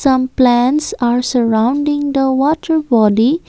some plants are surrounding the water body.